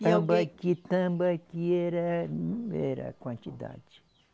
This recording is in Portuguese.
Tambaqui, tambaqui, era um era quantidade.